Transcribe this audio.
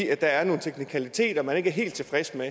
er nogle teknikaliteter man ikke er helt tilfreds med